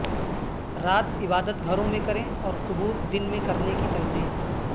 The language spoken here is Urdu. رات عبادت گھروں میں کریں اور قبور دن میں کرنے کی تلقین